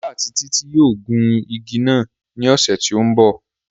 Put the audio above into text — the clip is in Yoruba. Ọlá àti títí yóò gun igi náà ní ọ̀sẹ̀ tí ó ń bọ̀